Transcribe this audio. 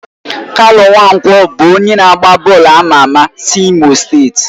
Kanu Nwankwo bụ onye na-agba bọọlụ ama ama si Imo steeti.